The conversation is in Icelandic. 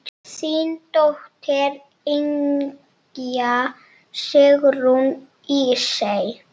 Þín dóttir, Ynja Sigrún Ísey.